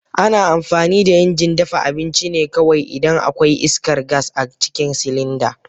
Ana amfani da injin dafa abinci ne kawai idan akwai iskar gas a cikin silinda.